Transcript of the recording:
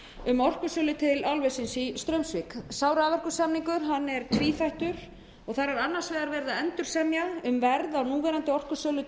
um orkusölu til álversins í straumsvík sá raforkusamningur er tvíþættur þar er annars vegar verið að endursemja um verð á núverandi orkusölu